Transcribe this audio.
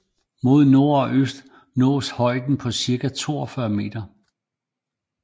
Mod nord og øst nås højder på cirka 42 meter